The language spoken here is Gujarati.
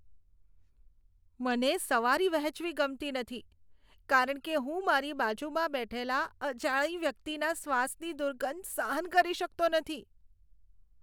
મને સવારી વહેંચવી ગમતી નથી કારણ કે હું મારી બાજુમાં બેઠેલા અજાણી વ્યક્તિના શ્વાસની દુર્ગંધ સહન કરી શકતો નથી.